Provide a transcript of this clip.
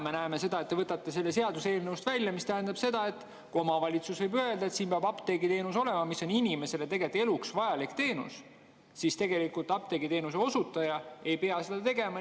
Me näeme, et te võtate selle eelnõuga seadusest välja, mis tähendab, et kuigi omavalitsus võib öelda, et siin peab olema apteegiteenus, mis on inimesele eluks vajalik teenus, siis apteegiteenuse osutaja ei pea seda tagama.